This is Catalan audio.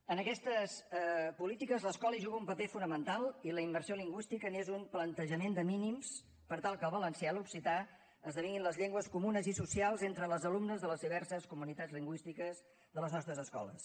en aquestes polítiques l’escola hi juga un paper fonamental i la immersió lingüística és un plantejament de mínims per tal que el valencià i l’occità esdevinguin les llengües comunes i socials entre les alumnes de les diverses comunitats lingüístiques de les nostres escoles